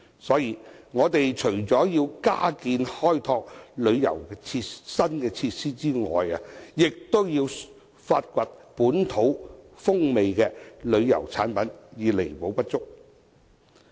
所以，我們除了加建及開拓新旅遊設施外，也要發掘具本地風味的旅遊產品，以彌補不足。